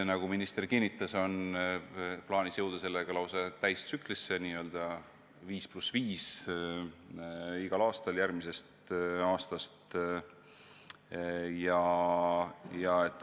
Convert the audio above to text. Nagu minister kinnitas, sellega on plaanis jõuda lausa täistsüklisse, n-ö 5 + 5 igal aastal järgmisest aastast.